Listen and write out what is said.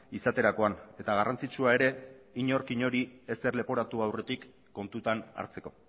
izaterakoan eta garrantzitsua ere inork inori ezer leporatu aurretik kontutan hartzeko